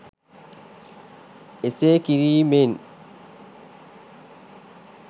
එසේ කිරීමෙන්?